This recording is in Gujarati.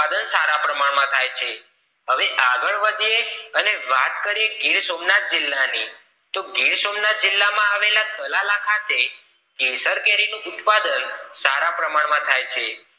થાય છે હવે આગળ વધીએ અને વાત કરીએ ગીર સોમનાથ જિલ્લા ની તો ગીર સોમનાથ જિલ્લા માં આવેલા તલખે કેસર કેરી નું ઉત્પાદન સારા પ્રમાણ થાય છે